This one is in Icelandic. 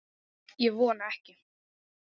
Ég vona ekki